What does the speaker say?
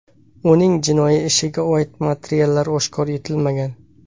Uning jinoiy ishiga oid materiallar oshkor etilmagan.